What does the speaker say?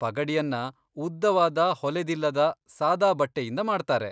ಪಗಡಿಯನ್ನ ಉದ್ದವಾದ ಹೊಲೆದಿಲ್ಲದ ಸಾದಾ ಬಟ್ಟೆಯಿಂದ ಮಾಡ್ತಾರೆ.